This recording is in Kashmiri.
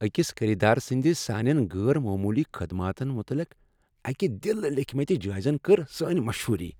أکِس خریدار سندِ سٲنین غٲر موموٗلی خدماتن متعلق اکہِ دلہٕ لیكھمٕتہِ جٲیزٕن کٔر سٲنۍ مشہوٗری ۔